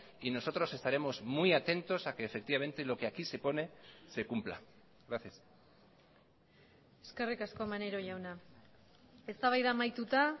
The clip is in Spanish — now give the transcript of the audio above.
y nosotros estaremos muy atentos a que efectivamente lo que aquí se pone se cumpla gracias eskerrik asko maneiro jauna eztabaida amaituta